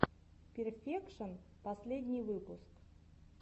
перфекшон последний выпуск